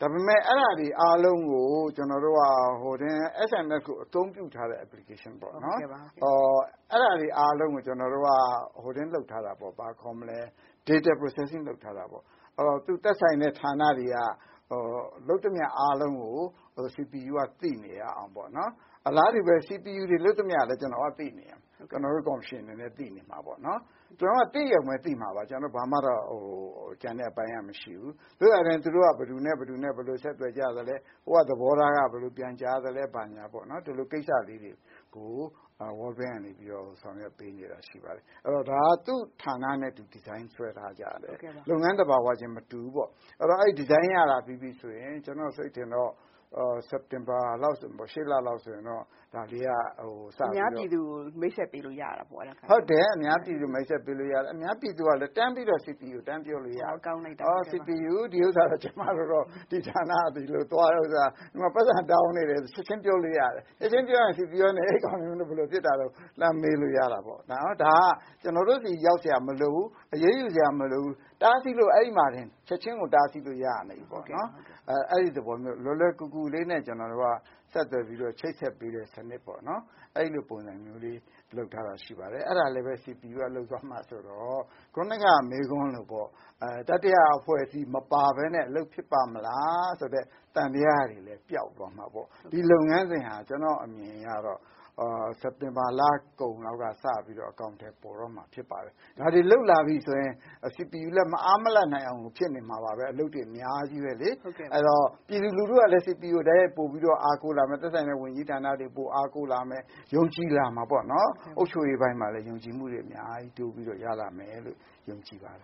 ဒါပေမယ့် ဒါတွေအကုန်လုံးကို SMS အသုံးပြုထားတဲ့ Application ပေါ့နော် ဒါတွေအကုန်လုံးကို ကျနော်တို့ Data procession လုပ်ထားတာပေါ့။ သက်ဆိုင်တဲ့ ဌာနတွေလုပ်သမျှအားလုံးကို CPU က သိနေအောင်ပေါ့နော်။ အလားတူပဲ CPU လုပ်သမျှလည်း ကျနော်တို့ ကော်မရှင်အနေနဲ့ သိနေရမယ်။ ကျနော်တို့က သိရုံပဲသိမှာပါ ကျန်တဲ့အပိုင်းက ဘာမှ မရှိဘူး။ သို့သော်လည်း ဘယ်သူတို့ ဘယ်လို ဆက်သွယ်ကြသလဲဟိုက သဘောထားက ဘယ်လိုပြန်ကြားသလဲ ဘာညာပေါ့နော် ဒါလေးတွေကို World bank က ဆောင်ရွက်ပေးနေတာ ရှိပါတယ်။ ဒါက သူ့ဌာနနဲ့သူ ဒီဇိုင်း ဆွဲထားကြတယ်။ လုပ်ငန်းသဘာဝချင်းမတူဘူးပေါ့ အဲဒီတော့ အဲဒီဒီဇိုင်းက စက်တင်ဘာလောက်ဆိုရင် အများပြည်သူကို မိတ်ဆက်ပေးလို့ ရတယ်။ အများပြည်သူကလည်း CPU ကို တန်းပြီးတော့ ပြောလို့ရတယ်။ ဒီဌာနကတော့ ကျမတို့ကို ဒီလို ပိုက်ဆံတောင်းနေတယ်ဆိုတာကို ချက်ချင်းပြောလို့ရတယ်။ အဲလိုဆိုရင် CPU ကလည်း လှမ်းမေးလို့ရတာပေါ့ ။ ဒါက ကျနော်တို့ဆီ ရောက်စရာမလိုဘူး အရေးယူစရာမလိုဘူး ချက်ချင်းကို အဲဒီမှာတင် တားဆီးလို့ရနေပါပြီ။ အဲဒီသဘောမျိုး လွယ်လွယ်ကူကူလေးနဲ့ ကျနော်တို့က ချိတ်ဆက်လို့ရတယ် အဲဒါလေးလည်း CPU က လုပ်မှာဆိုတော့ ခုနက မေးခွန်းလိုပေါ့ တတိယ အဖွဲ့အစည်း မပါပဲနဲ့ အလုပ်ဖြစ်ပါ့မလား ဆိုတဲ့ သံသယတွေလည်း ပြောက်သွားမှာပေါ့။ ဒီလုပ်ငန်း စဉ်ဟာ ကျနော့်အမြင်အရတော့ စက်တင်ဘာလကုန် လောက်ကစပြီးတော့ အကောင်အထည်ဖော်တော့မှာဖြစ်ပါတယ်။ ဒါတွေလုပ်လာပြီ ဆိုရင် CPU လည်း မအားမလပ်ဖြစ်နေမှာပဲ။ အလုပ်တွေ အများကြီးပဲလေ။ အဲဒီတော့ ပြည်သူကလည်း CPU ကို တိုက်ရိုက်ပိုပြီးတော့ အားကိုးလာမယ် သက်ဆိုင်ရာဝန်ကြီးဌာနတွေကို အားကိုးလာမယ် ။ ယုံကြည်လာမှာပေါ့နော် အုပ်ချုပ်ရေးပိုင်းမှာလည်း ယုံကြည်မှုတွေ အများကြီးတိုးပြီးရလာမယ်လို့ ယုံကြည်ပါတ